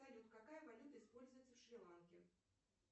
салют какая валюта используется в шри ланке